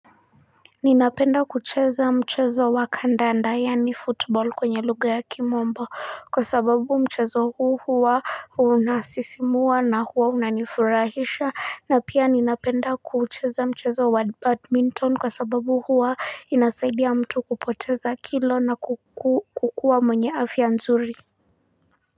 Ninapenda kucheza mchezo wa kandanda yani football kwenye lugha ya kimombo kwa sababu mchezo huu hua unasisimua na hua unanifurahisha na pia ninapenda kucheza mchezo wa badminton kwa sababu hua inasaidia mtu kupoteza kilo na kukuwa mwenye afia nzuri.